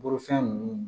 Bolofɛn ninnu